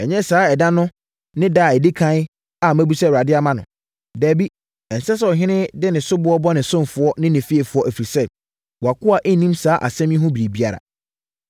Ɛnyɛ saa ɛda no ne ɛda a ɛdi ɛkan a mabisa Awurade ama no. Dabi! Ɛnsɛ sɛ ɔhene no de soboɔ bɔ ne ɔsomfoɔ ne ne fiefoɔ, ɛfiri sɛ, wʼakoa nnim saa asɛm yi ho biribiara.”